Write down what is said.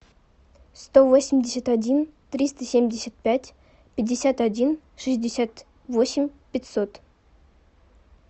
сто восемьдесят один триста семьдесят пять пятьдесят один шестьдесят восемь пятьсот